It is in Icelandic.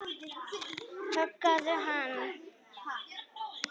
Höggðu hann!